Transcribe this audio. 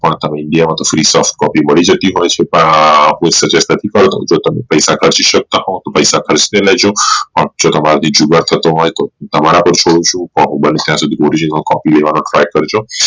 પણ india માં free tag copy મળતી હોઈ છે જો તમે પૈસા ખર્ચી શકતા હોવ તો પૈસા ખર્ચી લેજો અને જો તમારાથી જુગાડ થતો હોઈ તો તમારા પાર છોડું છું તને ત્યાં સુધી try કરજો